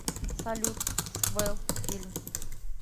салют свэлл фильм